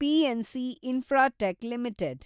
PNC Infratech limited